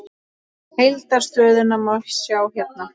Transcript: Heildar stöðuna má sjá hérna.